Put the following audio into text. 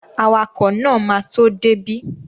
Awakọ̀ náà ma tó dé bí